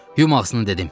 Yum ağzını dedim.